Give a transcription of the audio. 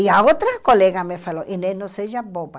E a outra colega me falou, Inês, não seja boba.